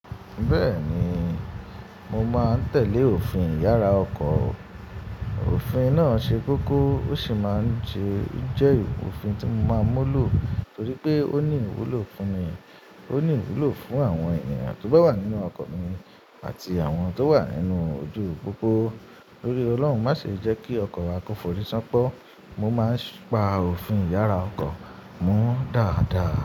Bẹ́ẹ̀ni, mo máa ń tẹ̀lé òfin ìyára ọkọ̀. Òfin náà ṣe kókó ó sì máa ń jẹ́ òfin tí mo máa ń múlò torí pé ó ní ìwúlò fún mi, ó ní ìwúlò fún àwọn èèyàn tó bá wà nínú ọkọ̀ mi àti àwọn tó wà nínú ojúu pópó. Tórí Ọlọ́run má ṣe jẹ́ kí ọkọ̀ wa kò fòrí sánpọ́. Mo máa ń pa òfin ìyára ọkọ̀ mú dáadáa.